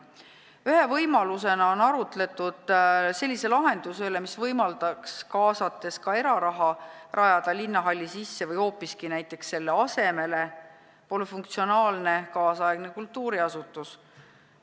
Ühe võimalusena on arutletud sellise lahenduse üle, mis võimaldaks, kaasates ka eraraha, rajada linnahalli sisse või hoopiski selle asemele polüfunktsionaalse nüüdisaegse kultuuriasutuse.